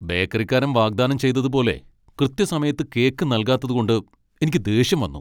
ബേക്കറിക്കാരൻ വാഗ്ദാനം ചെയ്തതുപോലെ കൃത്യസമയത്ത് കേക്ക് നൽകാത്തതുകൊണ്ട് എനിക്ക് ദേഷ്യം വന്നു.